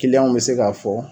w be se ka fɔ